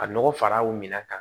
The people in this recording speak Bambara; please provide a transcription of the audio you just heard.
Ka nɔgɔ fara o minan kan